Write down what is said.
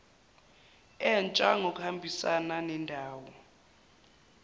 entsha ngokuhambisana nendawo